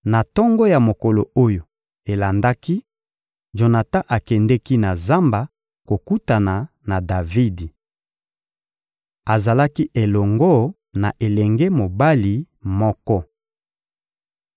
Na tongo ya mokolo oyo elandaki, Jonatan akendeki na zamba kokutana na Davidi. Azalaki elongo na elenge mobali moko.